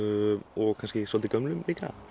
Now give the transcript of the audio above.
og kannski svolítið gömlum líka